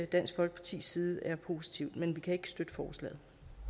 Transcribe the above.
dansk folkepartis side er positivt men vi kan ikke støtte forslaget